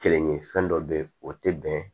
Kelen ye fɛn dɔ bɛ ye o tɛ bɛn